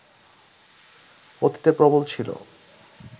অতীতে প্রবল ছিল